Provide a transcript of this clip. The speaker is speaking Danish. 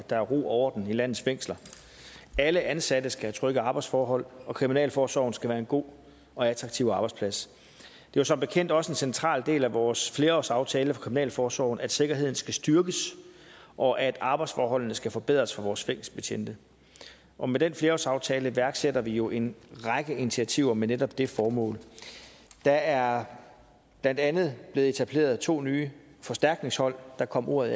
der er ro og orden i landets fængsler alle ansatte skal have trygge arbejdsforhold og kriminalforsorgen skal være en god og attraktiv arbejdsplads det var som bekendt også en central del af vores flerårsaftale for kriminalforsorgen at sikkerheden skal styrkes og at arbejdsforholdene skal forbedres for vores fængselsbetjente og med den flerårsaftale iværksætter vi jo en række initiativer med netop det formål der er blandt andet blevet etableret to nye forstærkningshold der kom ordet